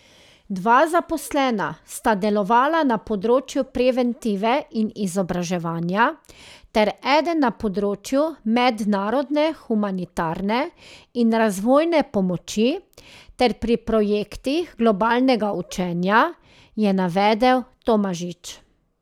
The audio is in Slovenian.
Dva zaposlena sta delovala na področju preventive in izobraževanja ter eden na področju mednarodne humanitarne in razvojne pomoči ter pri projektih globalnega učenja, je navedel Tomažič.